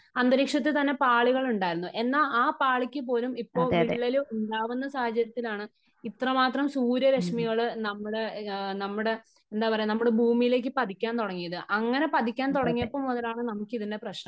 അന്തരീക്ഷത്തിൽ തന്നെ പാളികളുണ്ടായിരുന്നു. എന്നാൽ ആ പാളിക്ക് പോലും ഇപ്പോൾ വിള്ളൽ ഉണ്ടാകുന്ന സാഹചര്യത്തിലാണ് ഇത്രമാത്രം സൂര്യ രെശ്മികൾ നമ്മുടെ നമ്മുടെ എന്താ പറയാ നമ്മുടേ ഭൂമിയിലേക്ക് പതിക്കാൻ തുടങ്ങിയത് . അങ്ങനെ പതിക്കാൻ തുടങ്ങിയപ്പം മുതലാണ് നമുക്ക് ഇതിന്റെ പ്രശ്നം .